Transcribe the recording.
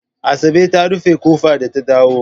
Asabe ta rufe ƙofa da ta dawo.